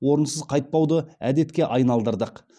орынсыз қайтпауды әдетке айналдырдық